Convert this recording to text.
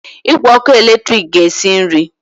Igwe ọkụ eletrik ga-esi nri.